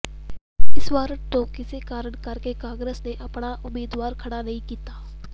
ਇਸ ਵਾਰਡ ਤੋਂ ਕਿਸੇ ਕਾਰਨ ਕਰਕੇ ਕਾਂਗਰਸ ਨੇ ਆਪਣਾ ਉਮੀਦਵਾਰ ਖੜ੍ਹਾ ਨਹੀਂ ਕੀਤਾ